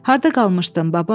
Harda qalmışdın baba?